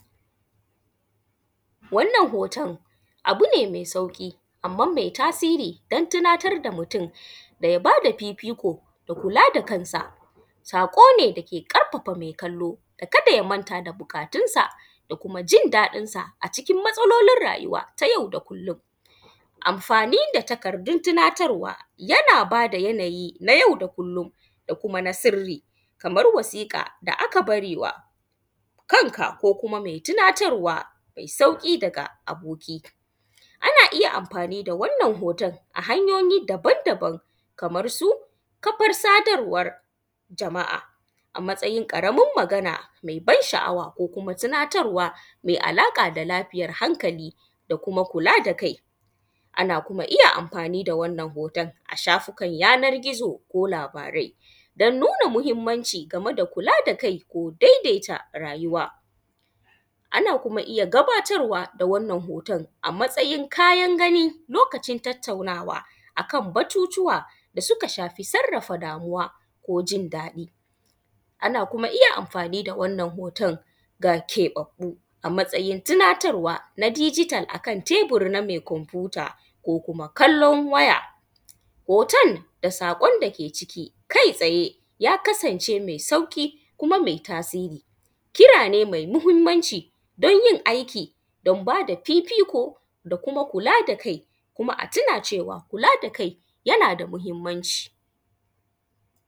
Wannan hoton abu ne mai sauƙi anman me tasiri don tunatar da mutum da ya ba da fifiko da kula da kansa, saƙo ne da ke ƙarfafa me kallo ka da ya manta da buƙatunsa da kuma jin daɗin da kuma matsalolin rayuwa na yau da kullon, anfani da takardun tinatarwa, yana ba da yanayi na yau da kullon da kuma na sirri bar wasika da aka bari wa kanka ko kuma me tinatarwa me sauƙi daga aboki. Ana iya anfani da wannan hoton ta hanyoyi daban-daban, kamarsu kafar sadarwan jama’a a matsayin ƙaramar magana me ban sha’awa ko kuma tinatarwa me alaƙa da lafiyan hankali da kuma kula da kai, ana kuma iya anfani da wannan hoton a shafikan yanan gizo ko labarai don nuna mahinmanci game da kula da kai, daidaita rayuwa. Ana iya kuma gabatarwa kuma da wannan hoton a matsayin kayan gani lokacin tattaunawa akan batutuwa da suka shafi sarrafa damuwa ko jin daɗi, ana kuma iya anfani da wannan ga keɓabbu a matsayin tinatarwa na digital akan tebur na me kwanfuta ko kuma kallon waya. Hoton saƙon da ke ciki kai tsaye ya kasance me sauƙi kuma me tasiri, kira ne me muhinmanci don yin aiki don ba da fifiko da kuma kula da kai, kuma a tuna cewa kula da kai yana da muhinmanci.